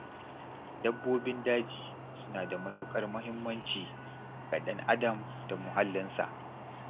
Nakan ziyarci abokina Musa sau uku ko huɗu a mako.